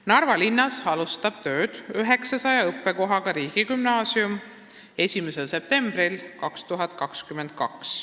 Narva linnas alustab 900 õppekohaga riigigümnaasium tööd 1. septembril 2022.